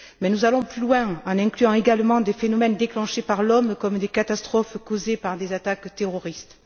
Mais nous allons plus loin en incluant également des phénomènes déclenchés par l'homme, comme des catastrophes causées par des attaques terroristes.